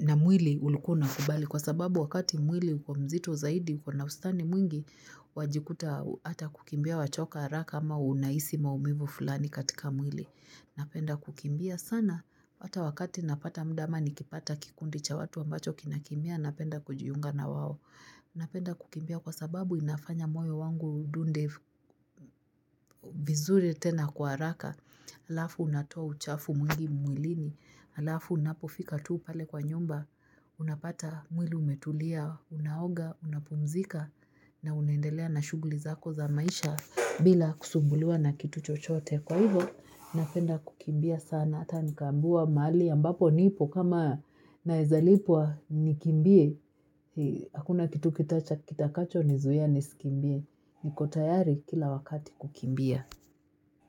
na mwili ulikuwa unakubali kwa sababu wakati mwili uko mzito zaidi uko nauzani mwingi wajikuta hata kukimbia wachoka haraka ama unahisi maumivu fulani katika mwili. Napenda kukimbia sana hata wakati napata muda ama nikipata kikundi cha watu ambacho kinakimbia napenda kujiunga na wawo. Napenda kukimbia kwa sababu inafanya moyo wangu udunde vizuri tena kwa haraka, halafu unatoa uchafu mwingi mwilini, halafu unapofika tuu pale kwa nyumba, unapata mwili umetulia, unaoga, unapumzika, na unaendelea na shughuli zako za maisha bila kusumbuliwa na kitu chochote. Kwa hivyo, napenda kukimbia sana, hata nikaambiwa mahali ambapo nipo kama nawezalipwa nikimbie, hakuna kitu kitakacho nizuia nisikimbie, nikotayari kila wakati kukimbia.